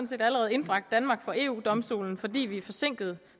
set allerede indbragt danmark for eu domstolen fordi vi er forsinket